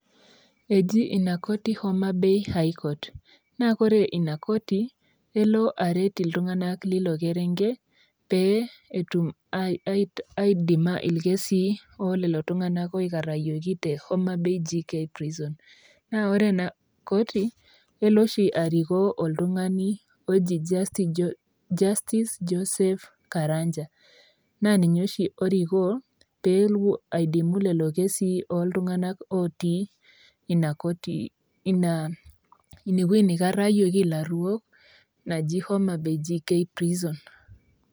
Eji ina koti homa bay high court naa ore ina koti kelo aret iltunganak Lina kop lilo kerenket pee etum aadima ilkesii loolela tunganak aikarayioki